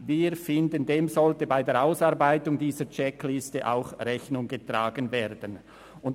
Wir finden, dass dem bei der Ausarbeitung dieser Checkliste auch Rechnung getragen werden sollte.